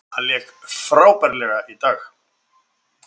Hann lék frábærlega í dag.